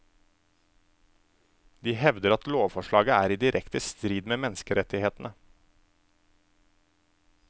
De hevder at lovforslaget er i direkte strid med menneskerettighetene.